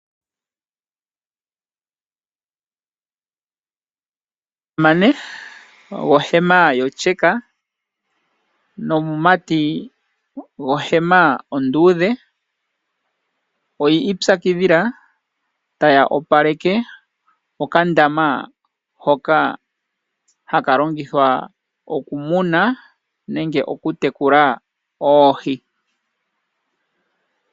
Omusamane gwohema yotyeka nomumati gwohema onduudhe oyi ipyakidhila taya opaleke okandama hoka longithwa oku muna nenge oku tekula oohi.